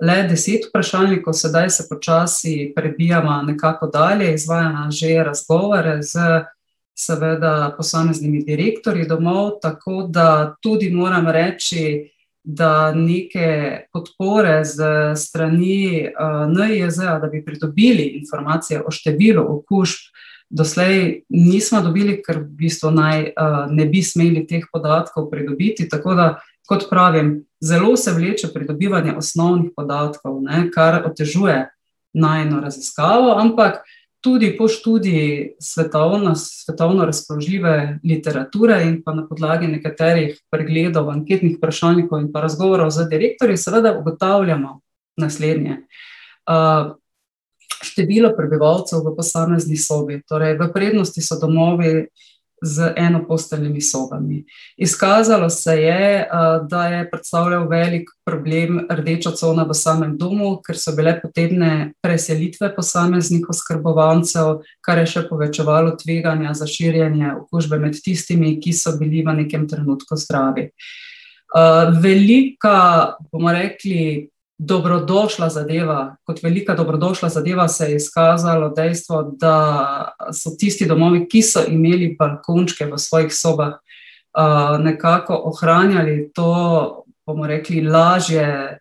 le deset vprašalnikov, sedaj se počasi prebijava nekako dalje, izvajava že razgovore s, seveda, posameznimi direktorji domov, tako da tudi moram reči, da neke podpore s strani, NIJZ-ja, da bi pridobili informacije o številu okužb, doslej nisva dobili, ker v bistvu naj, ne bi smeli teh podatkov pridobiti, tako da kot pravim, zelo se vleče pridobivanje osnovnih podatkov, ne, kar otežuje najino raziskavo, ampak tudi po študiji svetovno razpoložljive literature in pa na podlagi nekaterih pregledov anketnih vprašalnikov in pa razgovorov z direktorji seveda ugotavljava naslednje: število prebivalcev v posamezni sobi, torej v prednosti so domovi z enoposteljnimi sobami. Izkazalo se je, da je predstavljalo velik problem rdeča cona v samem domu, ker so bile potrebne preselitve posameznih oskrbovancev, kar je še povečevalo tveganja za širjenje okužbe med tistimi, ki so bili v nekem trenutku zdravi. velika, bomo rekli, dobrodošla zadeva, kot velika dobrodošla zadeva se je izkazalo dejstvo, da so tisti domovi, ki so imeli balkončke v svojih sobah, nekako ohranjali to, bomo rekli, lažje,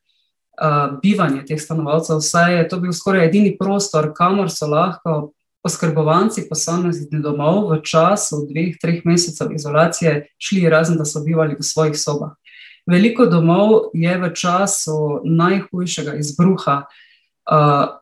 bivanje teh stanovalcev, saj je to bil skoraj edini prostor, kamor so lahko oskrbovanci posameznih domov v času dveh, treh mesecev izolacije šli, razen da so bivali v svojih sobah. Veliko domov je v času najhujšega izbruha,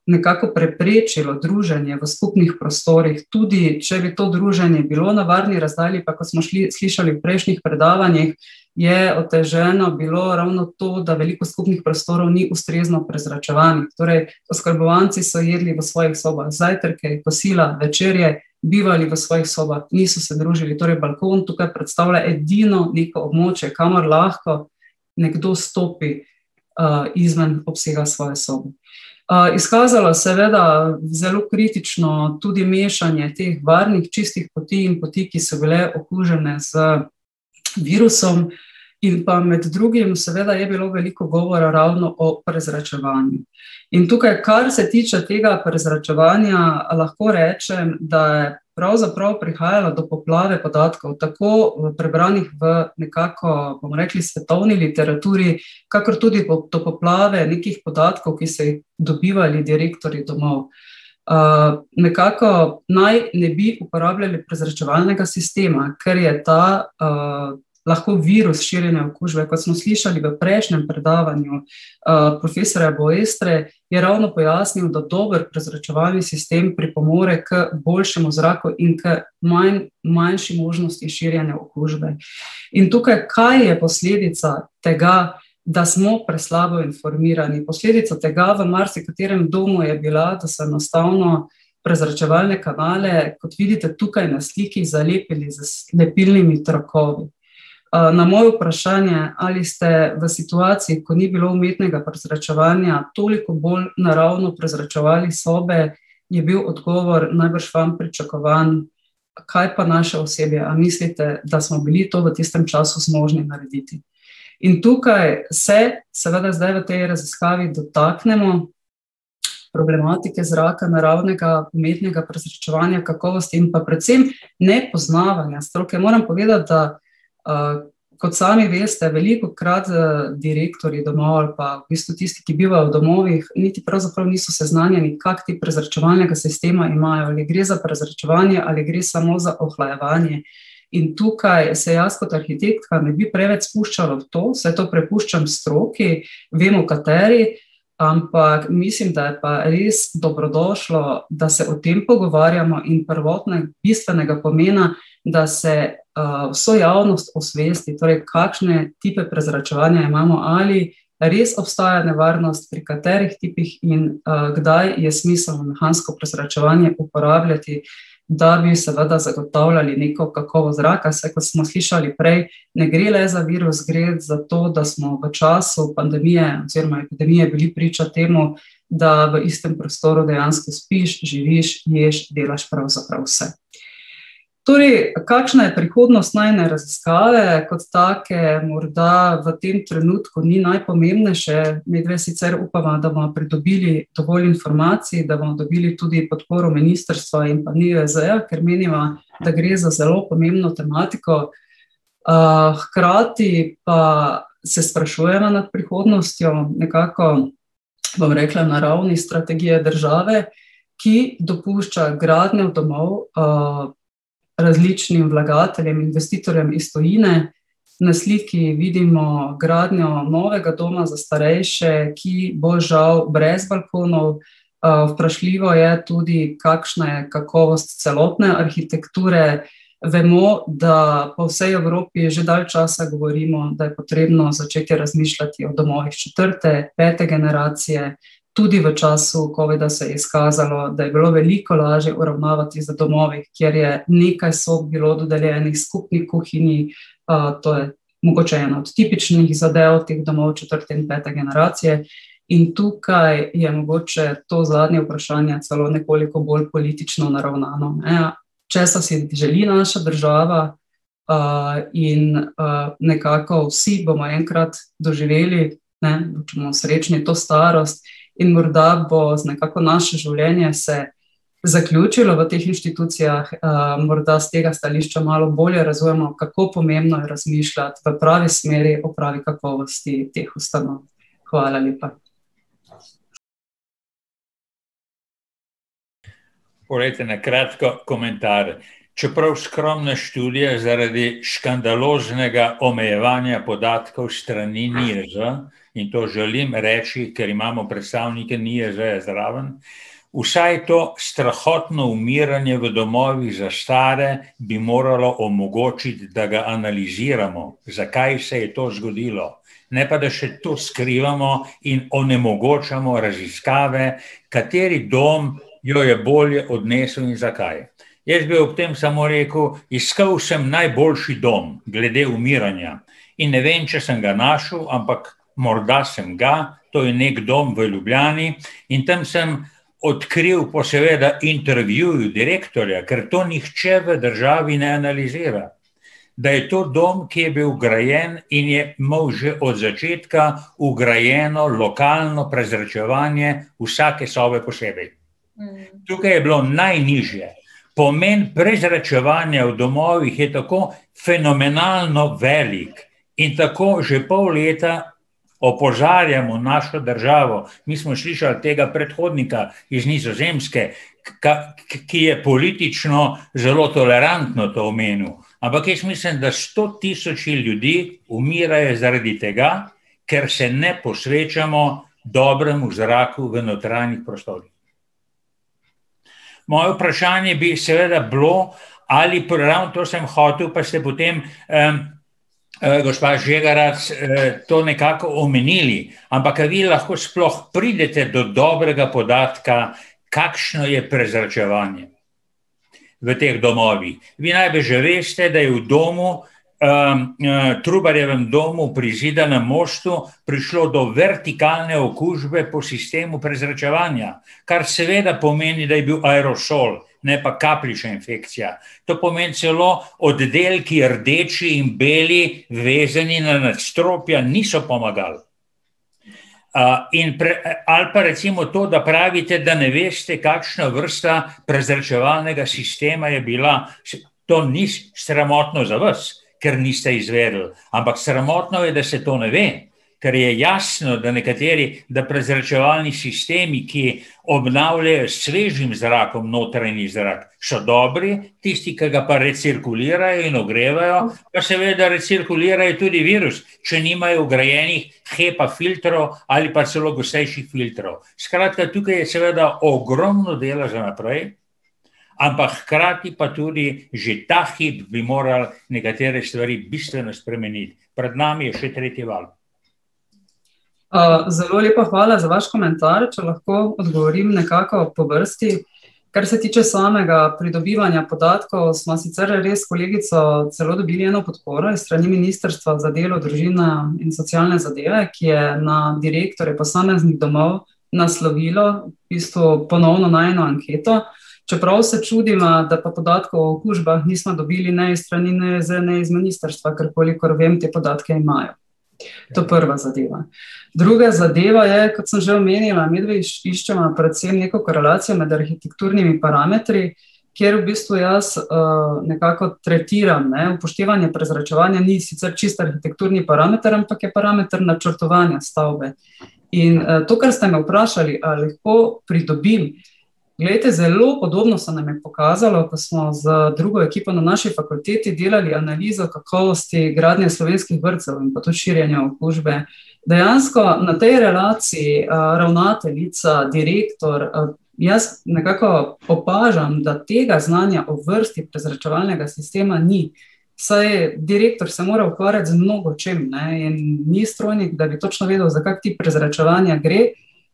nekako preprečilo druženje v skupnih prostorih, tudi če bi to druženje bilo na varni razdalji, kakor smo slišali v prejšnjih predavanjih, je oteženo bilo ravno to, da veliko skupnih prostorov ni ustrezno prezračevanih, torej oskrbovanci so jedli v svojih sobah zajtrke, kosila, večerje, bivali v svojih sobah, niso se družili, torej balkon tukaj predstavlja edino neko območje, kamor lahko nekdo stopi, izven obsega svoje sobe. izkazala seveda zelo kritično tudi mešanje teh varnih, čistih poti in poti, ki so bile okužene z virusom, in pa med drugim seveda je bilo veliko govora ravno o prezračevanju. In tukaj, kar se tiče tega prezračevanja, lahko rečem, da pravzaprav prihajalo do poplave podatkov, tako v prebranih, v nekako, bomo rekli, svetovni literaturi kakor tudi do poplave nekih podatkov, ki so jih dobivali direktorji domov. nekako naj ne bi uporabljali prezračevalnega sistema, ker je ta, lahko virus širjenja okužbe, kot smo slišali v prejšnjem predavanju, profesorja Boerstre, je ravno pojasnil, da dober prezračevalni sistem pripomore k boljšemu zraku in k manjši možnosti širjenja okužbe. In tukaj, kaj je posledica tega, da smo preslabo informirani, posledica tega v marsikaterem domu je bila, da so enostavno prezračevalne kanale, kot vidite tukaj na sliki, zalepili z lepilnimi trakovi. na moje vprašanje, ali ste v situaciji, ko ni bilo umetnega prezračevanja, toliko bolj naravno prezračevali sobe, je bil odgovor najbrž vam pričakovan: "Kaj pa naša osebja, a mislite, da smo bili to v tistem času zmožni narediti?" In tukaj se, seveda, zdaj v tej raziskavi dotaknemo problematike zraka, naravnega, umetnega prezračevanja, kakovosti in pa predvsem nepoznavanja stroke, moram povedati, da, kot sami veste, velikokrat, direktorji domov ali pa v bistvu tisti, ki bivajo v domovih, niti pravzaprav niso seznanjeni, kak tip prezračevalnega sistema imajo, ali gre za prezračevanje ali gre samo za ohlajevanje. In tukaj se jaz kot arhitektka ne bi preveč spuščala v to, saj to prepuščam stroki, vemo, kateri, ampak mislim, da je pa res dobrodošlo, da se o tem pogovarjamo, in prvotno je bistvenega pomena, da se, vso javnost osvesti, torej kakšne tipe prezračevanja imamo, ali res obstaja nevarnost, pri katerih tipih in, kdaj je smiselno mehansko prezračevanje uporabljati, da bi, seveda, zagotavljali neko kakovost zraka, saj, kot smo slišali prej, ne gre le za virus, gre za to, da smo v času pandemije oziroma epidemije bili priča temu, da v istem prostoru dejansko spiš, živiš, ješ, delaš pravzaprav vse. Torej, kakšna je prihodnost najine raziskave kot take, morda v tem trenutku ni najpomembnejše, midve sicer upava, da bova pridobili dovolj informacij, da bomo dobili tudi podporo ministrstva in pa NIJZ-ja, ker meniva, da gre za zelo pomembno tematiko. hkrati pa se sprašujeva nad prihodnostjo, nekako, bom rekla, na ravni strategije države, ki dopušča gradnjo domov, različnim vlagateljem, investitorjem iz tujine. Na sliki vidimo gradnjo novega doma za starejše, ki bo žal brez balkonov, vprašljivo je tudi, kakšna je kakovost celotne arhitekture, vemo, da po vsej Evropi že dalj časa govorimo, da je potrebno začeti razmišljati o domovih četrte, pete generacije, tudi v času covida se je izkazalo, da je bilo veliko lažje uravnavati z domovi, kjer je nekaj sob bilo dodeljenih skupni kuhinji, to je mogoče ena od tipičnih zadev teh domov četrte in pete generacije, in tukaj je mogoče to zadnje vprašanje celo nekoliko bolj politično naravnano, ne, česa si želi naša država, in, nekako vsi bomo enkrat doživeli, ne, srečni, to starost in morda bo nekako naše življenje se zaključilo v teh inštitucijah, morda s tega stališča malo bolj razumemo, kako pomembno je razmišljati v pravi smeri o pravi kakovosti teh ustanov. Hvala lepa. Poglejte, na kratko komentar. Čeprav skromna študija zaradi škandaloznega omejevanja podatkov s strani NIJZ, in to želim reči, ker imamo predstavnike NIJZ-ja zraven, vsaj to strahotno umiranje v domovih za stare bi moralo omogočiti, da ga analiziramo, zakaj se je to zgodilo. Ne pa da še to skrivamo in onemogočamo raziskave, kateri dom jo je bolje odnesel in zakaj. Jaz bi ob tem samo rekel, iskal sem najboljši dom glede umiranja. In ne vem, če sem ga našel, ampak morda sem ga, to je neki dom v Ljubljani, in tam sem odkril po seveda intervjuju direktorja, ker to nihče v državi ne analizira, da je to dom, ki je bil grajen in je imel že od začetka vgrajeno lokalno prezračevanje vsake sobe posebej. Tukaj je bilo najnižje ... Pomen prezračevanja v domovih je tako fenomenalno velik in tako že pol leta opozarjamo našo državo, mi smo slišali tega predhodnika iz Nizozemske, ki je politično zelo tolerantno to omenil, ampak jaz mislim, da sto tisoči ljudi umirajo zaradi tega, ker se ne posvečamo dobremu zraku v notranjih prostorih. Moje vprašanje bi seveda bilo, ali, pa ravno to sem hotel, pa ste potem, gospa Žegerac, to nekako omenili. Ampak, a vi lahko sploh pridete do dobrega podatka, kakšno je prezračevanje v teh domovih? Vi najbrž že veste, da je v domu, Trubarjevem domu pri Zidanem mostu prišlo do vertikalne okužbe po sistemu prezračevanja, kar seveda pomeni, da je bil aerosol, ne pa kapljična infekcija. To pomeni celo oddelki rdeči in beli, vezani na nadstropja, niso pomagali. in ali pa recimo to, da pravite, da ne veste, kakšna vrsta prezračevalnega sistema je bila. to ni sramotno za vas, ker niste izvedli, ampak sramotno je, da se to ne ve. Ker je jasno, da nekateri, da prezračevalni sistemi, ki obnavljajo s svežim zrakom notranji zrak, so dobri, tisti, ke ga pa recirkulirajo in ogrevajo, pa seveda recirkulirajo tudi virus, če nimajo vgrajenih HEPA-filtrov ali pa celo gostejših filtrov. Skratka, tukaj je seveda ogromno dela za naprej, ampak hkrati pa tudi že ta hip bi morali nekatere stvari bistveno spremeniti. Pred nami je še tretji val. zelo lepa hvala za vaš komentar, če lahko odgovorim nekako po vrsti. Kar se tiče samega pridobivanja podatkov, sva sicer res s kolegico celo dobili eno podporo s strani Ministrstva za delo, družino in socialne zadeve, ki je na direktorje posameznih domov naslovilo v bistvu ponovno najino anketo. Čeprav se čudiva, da pa podatkov o okužbah nisva dobili ne iz strani NIJZ-ja ne iz ministrstva, ker koliko vem, te podatke imajo. To je prva zadeva. Druga zadeva je, kot sem že omenila, midve iščeva predvsem neko korelacijo med arhitekturnimi parametri, kjer v bistvu jaz, nekako tretiram, ne, upoštevanje prezračevanja ni sicer čisto arhitekturni parameter, ampak je parameter načrtovanja stavbe. In, to, kar ste me vprašali, ali lahko pridobim, glejte, zelo podobno se nam je pokazalo, ko smo z drugo ekipo na naši fakulteti delali analizo kakovosti gradnje slovenskih vrtcev in pa tudi širjenja okužbe. Dejansko na tej relaciji, ravnateljica, direktor, jaz nekako opažam, da tega znanja o vrsti prezračevalnega sistema ni. Vsaj direktor se mora ukvarjati z mnogočim, ne, in ni strojnik, da bi točno vedel, za kak tip prezračevanja gre.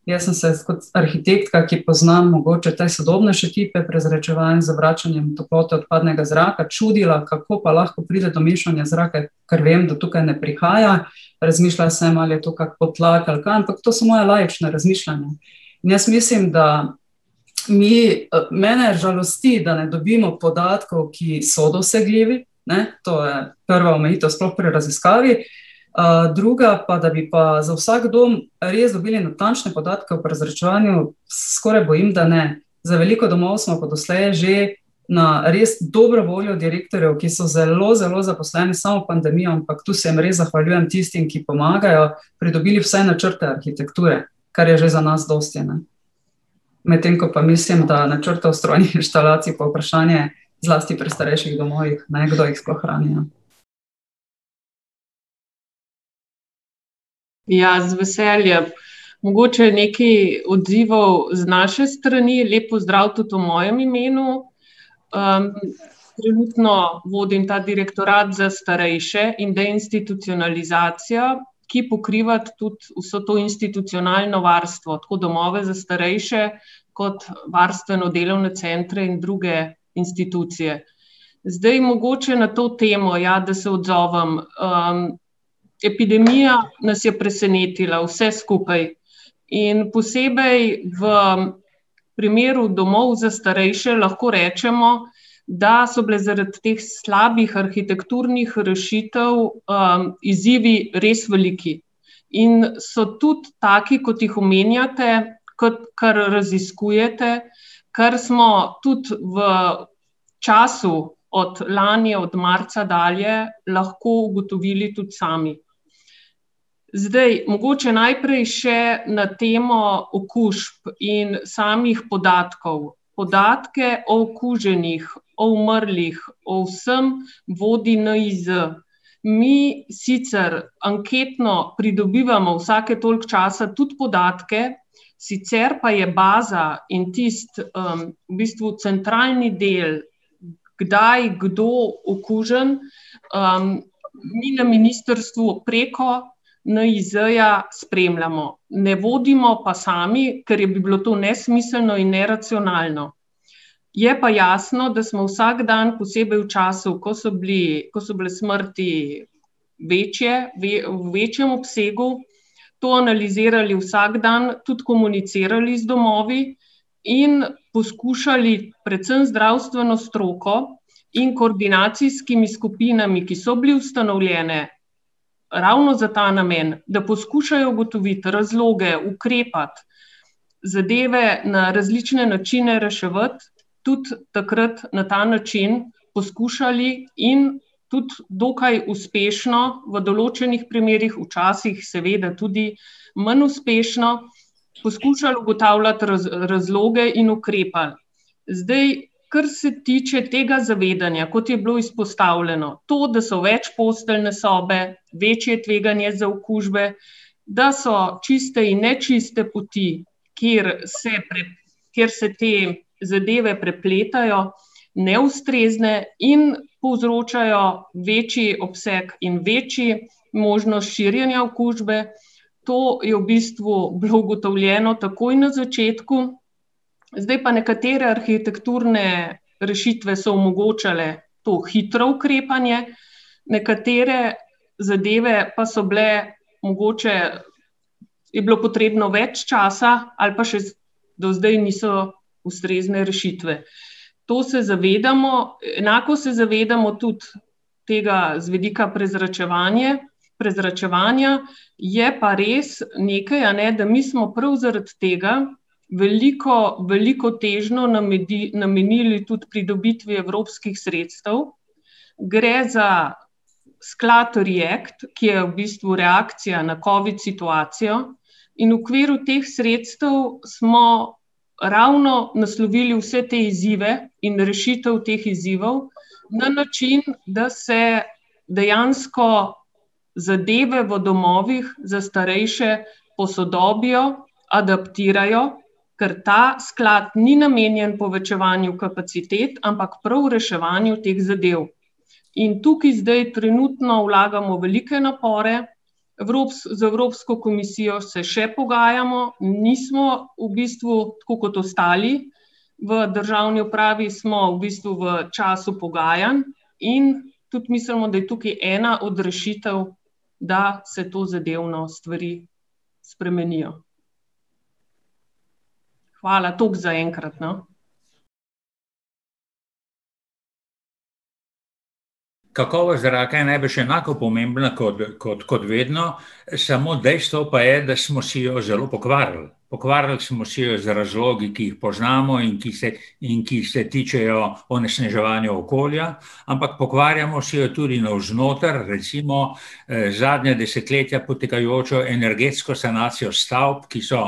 Jaz sem se kot arhitektka, ki pozna mogoče te sodobnejše tipe prezračevanj z vračanjem toplote odpadnega zraka, čudila, kako pa lahko pride do mešanja zraka, ker vem, da tukaj ne prihaja. Razmišljala sem, ali je to kak podtlak ali kaj, ampak to so moja laična razmišljanja. In jaz mislim, da mi, mene žalosti, da ne dobimo podatkov, ki so dosegljivi, ne, to je prva omejitev sploh pri raziskavi, druga pa, da bi pa za vsak dom res dobili natančne podatke o prezračevanju, se skoraj bojim, da ne. Za veliko domov smo pa doslej že na res dobro voljo direktorjev, ki so zelo zelo zaposleni s samo pandemijo, ampak to se jim res zahvaljujem, tistim, ki pomagajo, pridobili vse načrte arhitekture, kar je že za nas dosti, ne. Medtem ko pa mislim, da načrtov strojnih inštalacij, pa vprašanje, zlasti pri starejših domovih, ne, kdo jih sploh rabi, ne. Ja, z veseljem, mogoče nekaj odzivov z naše strani, lep pozdrav tudi v mojem imenu. trenutno vodim ta Direktorat za starejše in deinstitucionalizacijo, ki pokriva tudi vso to institucionalno varstvo, tako domove za starejše kot varstveno-delovne centre in druge institucije. Zdaj mogoče na to temo, ja, da se odzovem, epidemija nas je presenetila vse skupaj. In posebej v primeru domov za starejše lahko rečemo, da so bile zaradi teh slabih arhitekturnih rešitev, izzivi res veliki. In so tudi taki, kot jih omenjate, kar raziskujete, kar smo tudi v času od lani, od marca dalje lahko ugotovili tudi sami. Zdaj, mogoče najprej še na temo okužb in samih podatkov. Podatke o okuženih, o umrlih, o vsem vodi NIJZ. Mi sicer anketno pridobivamo vsake toliko časa tudi podatke, sicer pa je baza in tisti, v bistvu centralni del, kdaj, kdo okužen, mi na ministrstvu preko NIJZ-ja spremljamo, ne vodimo pa sami, ker bi bilo to nesmiselno in neracionalno. Je pa jasno, da smo vsak dan, posebej v času, ko so bili, ko so bile smrti večje, v večjem obsegu, to analizirali vsak dan, tudi komunicirali z domovi in poskušali predvsem zdravstveno stroko in koordinacijskimi skupinami, ki so bile ustanovljene ravno za ta namen, da poskušajo ugotoviti razloge, ukrepati, zadeve na različne načine reševati, tudi takrat na ta način poskušali, in tudi dokaj uspešno v določenih primerih, včasih seveda tudi manj uspešno, poskušali ugotavljati razloge in ukrepati. Zdaj, kar se tiče tega zavedanja, kot je bilo izpostavljeno, to, da so večposteljne sobe, večje tveganje za okužbe, da so čiste in nečiste poti, kjer se kjer se te zadeve prepletajo, neustrezne in povzročajo večji obseg in večjo možnost širjenja okužbe, to je v bistvu bilo ugotovljeno takoj na začetku. Zdaj pa nekatere arhitekturne rešitve so omogočale to hitro ukrepanje, nekatere zadeve pa so bile, mogoče je bilo potrebno več časa ali pa še do zdaj niso ustrezne rešitve. To se zavedamo, enako se zavedamo tudi tega z vidika prezračevanje, prezračevanja, je pa res nekaj, a ne, da mi smo prav zaradi tega veliko, veliko težnjo namenili tudi pridobitvi evropskih sredstev, gre za sklad React, ki je v bistvu reakcija na covid situacijo, in v okviru teh sredstev smo ravno naslovili vse te izzive in rešitev teh izzivov na način, da se dejansko zadeve v domovih za starejše posodobijo, adaptirajo, ker ta sklad ni namenjen povečevanju kapacitet, ampak prav reševanju teh zadev. In tukaj zdaj trenutno vlagamo velike napore, z Evropsko komisijo se še pogajamo, nismo v bistvu tako kot ostali v državni upravi, smo v bistvu v času pogajanj, in tudi mislimo, da je tukaj ena od rešitev, da se tozadevno stvari spremenijo. Hvala, toliko zaenkrat, no. Kakovost zraka je najbrž enako pomembna ko kot, kot vedno, samo dejstvo pa je, da smo si jo zelo pokvarili. Pokvarili smo si jo z razlogi, ki jih poznamo, in ki se, in ki se tičejo onesnaževanja okolja, ampak pokvarjamo si jo tudi navznoter, recimo, zadnja desetletja potekajočo energetsko sanacijo stavb, ki so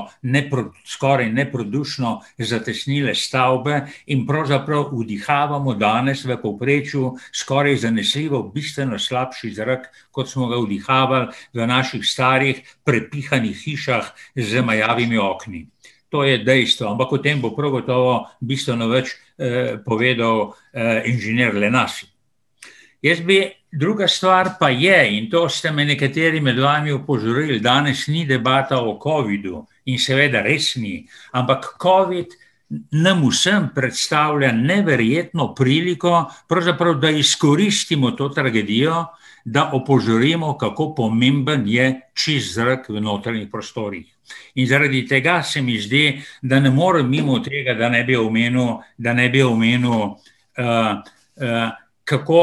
skoraj neprodušno zatesnile stavbe in pravzaprav vdihavamo danes v povprečju skoraj zanesljivo bistveno slabši zrak, kot smo ga vdihavali v naših starih prepihanih hišah z majavimi okni. To je dejstvo, ampak o tem bo prav gotovo bistveno več, povedal, inženir . Jaz bi ... Druga stvar pa je, in to ste me nekateri med vami opozorili, danes ni debata o covidu in seveda res ni, ampak covid nam vsem predstavlja neverjetno priliko, pravzaprav, da izkoristimo to tragedijo, da opozorimo, kako pomemben je čist zrak v notranjih prostorih. In zaradi tega se mi zdi, da ne morem mimo tega, da ne bi omenil, da ne bi omenil, kako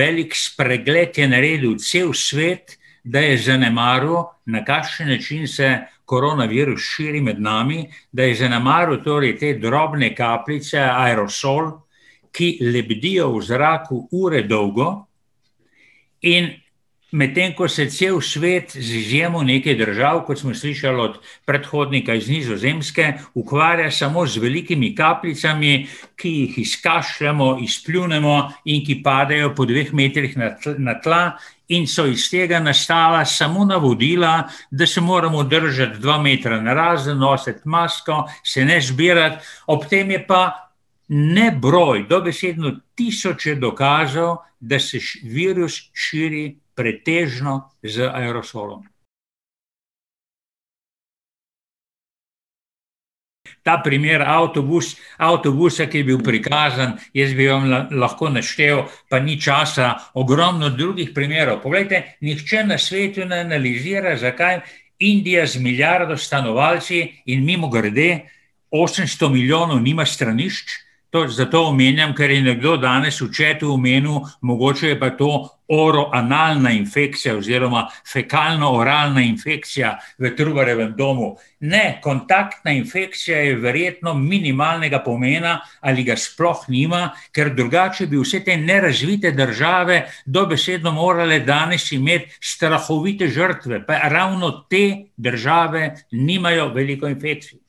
velik spregled je naredil cel svet, da je zanemaril, na kakšen način se koronavirus širi med nami, da je zanemaril torej te drobne kapljice, aerosol, ki lebdijo v zraku ure dolgo, in medtem ko se cel svet, z izjemo nekaj držav, kot smo slišali od predhodnika iz Nizozemske, ukvarja samo z velikimi kapljicami, ki jih izkašljamo, izpljunemo, in ki padejo po dveh metrih na na tla, in so iz tega nastala samo navodila, da se moramo držati dva metra narazen, nositi masko, se ne zbirati, ob tem je pa nebroj, dobesedno tisoče dokazov, da se virus širi pretežno z aerosolom. Ta primer avtobus, avtobusa, ki je bil prikazan, jaz bi vam lahko naštel, pa ni časa, ogromno drugih primerov, poglejte, nihče na svetu ne analizira, zakaj Indija z milijardo stanovalci, in mimogrede, osemsto milijonov, nima stranišč, to zato omenjam, ker je nekdo danes v chatu omenil, mogoče je pa to oroanalna infekcija oziroma fekalno-oralna infekcija v Trubarjevem domu. Ne, kontaktna infekcija je verjetno minimalnega pomena ali ga sploh nima, ker drugače bi vse te nerazvite države dobesedno morale danes imeti strahovite žrtve, pa ravno te države nimajo veliko infekcij. No,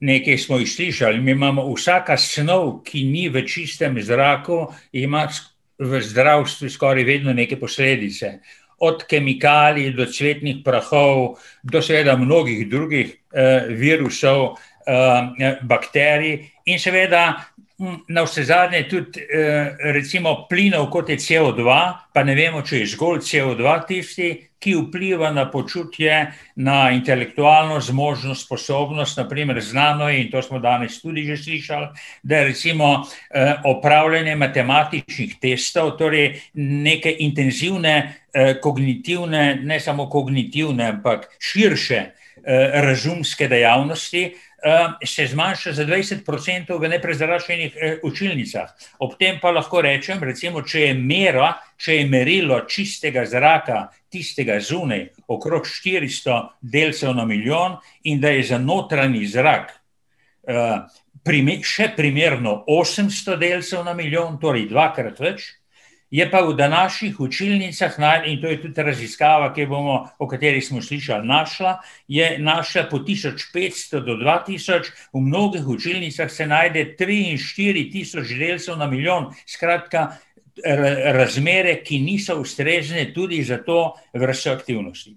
nekaj smo jih slišali, mi imamo, vsaka snov, ki ni v čistem zraku, ima v zdravstvu skoraj vedno neke posledice. Od kemikalij do cvetnih prahov do seveda mnogih drugih, virusov, bakterij in seveda navsezadnje tudi, recimo plinov, kot je COdva, pa ne vemo, če je zgolj COdva tisti, ki vpliva na počutje, na intelektualno zmožnost, sposobnost, na primer znano je, in to smo danes tudi že slišali, da recimo, opravljanje matematičnih testov, torej neke intenzivne, kognitivne, ne samo kognitivne, ampak širše razumske dejavnosti, se zmanjša za dvajset procentov v neprezračenih, učilnicah. Ob tem pa lahko rečem, recimo, če je mera, če je merilo čistega zraka, tistega zunaj, okrog štiristo delcev na milijon in da je za notranji zrak, še primerno osemsto delcev na milijon, torej dvakrat več, je pa v današnjih učilnicah, in to je tudi raziskava, ki jo bomo, o kateri smo slišali, našla, je našla po tisoč petsto do dva tisoč, v mnogih učilnicah se najde tri in štiri tisoč delcev na milijon. Skratka, razmere, ki niso ustrezne tudi za to vrsto aktivnosti.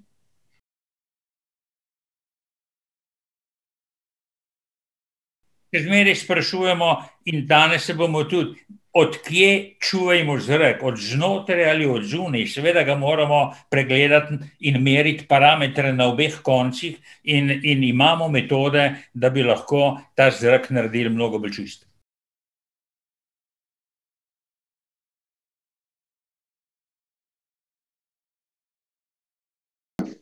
Še zmeraj sprašujemo in danes se bomo tudi, od kje čuvajmo zrak, od znotraj ali od zunaj? Seveda ga moramo pregledati in meriti parametre na obeh koncih in, in imamo metode, da bi lahko ta zrak naredili mnogo bolj čist.